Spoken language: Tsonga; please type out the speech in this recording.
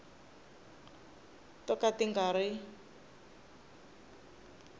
to ka ti nga ri